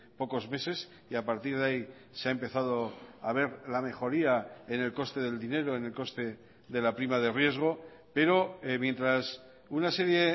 pocos meses y a partir de ahí se ha empezado a ver la mejoría en el coste del dinero en el coste de la prima de riesgo pero mientras una serie